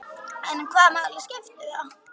En hvaða máli skiptir það?